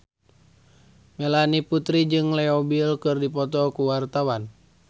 Melanie Putri jeung Leo Bill keur dipoto ku wartawan